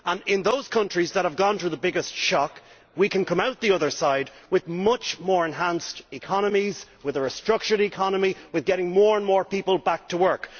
In those countries that have gone through the biggest shock, we can come out the other side with much more enhanced and restructured economies and we can get more and more people back to work.